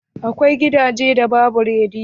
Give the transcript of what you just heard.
Akwai gidajen da babu rediyo.